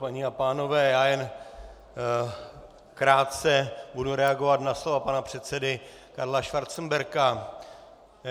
Paní a pánové, já jen krátce budu reagovat na slova pana předsedy Karla Schwarzenberga.